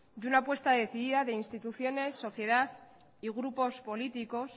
y una apuesta decidida de instituciones sociedad y grupos políticos